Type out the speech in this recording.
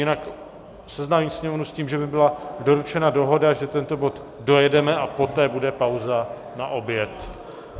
Jinak seznámím sněmovnu s tím, že mi byla doručena dohoda, že tento bod dojedeme a poté bude pauza na oběd.